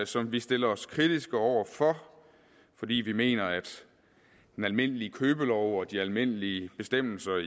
som vi stiller os kritisk over for fordi vi mener at den almindelige købelov og de almindelige bestemmelser